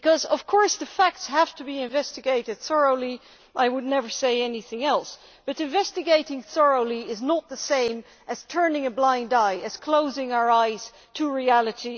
Of course, the facts have to be investigated thoroughly I would never say otherwise but investigating thoroughly is not the same as turning a blind eye or closing our eyes to reality.